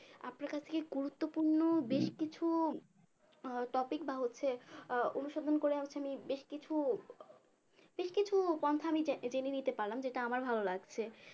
আপনার কাছে কি গুরুত্বপূর্ণ বেশ কিছু আহ topic বা হচ্ছে আহ অনুসন্ধান করে হচ্ছে আমি বেশ কিছু ঠিক কিছু পন্থা আমি জে জেনে নিতে পারলাম যেটা আমার ভালো লাগছে